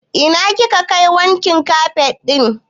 Ina kika kai wankin kafet ɗin ki?